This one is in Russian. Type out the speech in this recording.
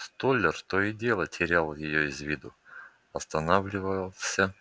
столяр то и дело терял её из виду останавливался